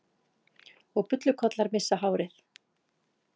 Og bullukollar missa hárið.